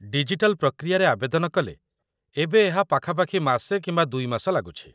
digital ପ୍ରକ୍ରିୟାରେ ଆବେଦନ କଲେ, ଏବେ ଏହା ପାଖାପାଖି ମାସେ କିମ୍ବା ଦୁଇ ମାସ ଲାଗୁଛି